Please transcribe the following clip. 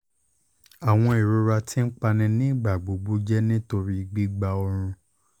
awọn irora ti npa ni igbagbogbo jẹ nitori gbigba ọrun